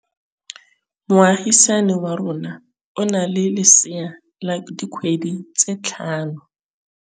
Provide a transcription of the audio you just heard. Moagisane wa rona o na le lesea la dikgwedi tse tlhano.